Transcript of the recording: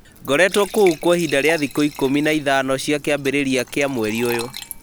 Ngoretwo kũ kwa ihinda rĩa thikũ ikũmi na ithano cia kĩambĩrĩria kĩa mweri ũyũ